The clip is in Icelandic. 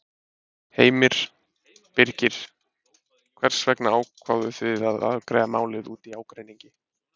Heimir: Birgir, hvers vegna ákváðuð þið að afgreiða málið út í ágreiningi?